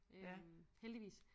Øh heldigvis